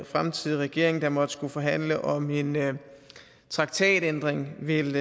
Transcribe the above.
fremtidig regering der måtte skulle forhandle om en traktatændring vil